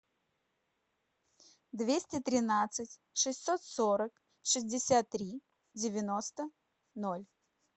двести тринадцать шестьсот сорок шестьдесят три девяносто ноль